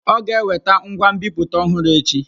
Ọ ga-eweta ngwa nbipute ọhụrụ echi?